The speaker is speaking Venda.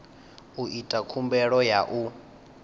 u ita khumbelo ya u